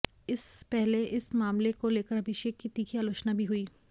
इस पहले इस मामले को लेकर अभिषेक की तीखी आलोचना भी हुई